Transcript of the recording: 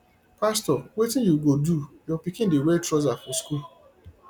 pastor wetin you go do your pikin dey wear trouser for school